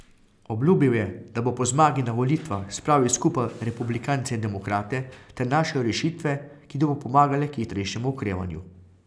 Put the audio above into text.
Obljubil je, da bo po zmagi na volitvah spravil skupaj republikance in demokrate ter našel rešitve, ki bodo pomagale k hitrejšemu okrevanju.